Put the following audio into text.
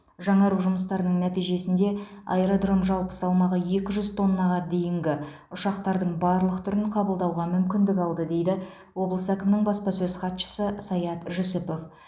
жаңару жұмыстарының нәтижесінде аэродром жалпы салмағы екі жүз тоннаға дейінгі ұшақтардың барлық түрін қабылдауға мүмкіндік алды дейді облыс әкімінің баспасөз хатшысы саят жүсіпов